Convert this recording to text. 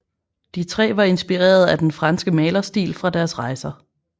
De tre var inspireret af den franske malerstil fra deres rejser